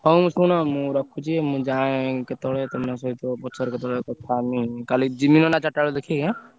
ହଉ ଶୁଣ ମୁଁ ରଖୁଛି ମୁଁ ଯାଏ କେତବେଳେ ତମ ସହିତ ପଛରେ କେତବେଳେ କଥା ହେମି କାଲି ଯିମି ନହେଲେ ଚାରିଟା ବେଳେ ଦେଖିକି ଏଁ?